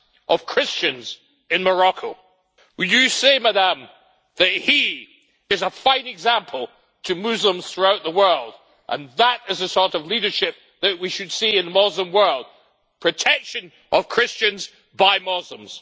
of Christians in Morocco. Would you say, Madam, that he is a fine example to Muslims throughout the world, and that this is the sort of leadership that we should see in the Muslim world protection of Christians by Muslims?